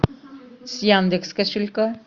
с яндекс кошелька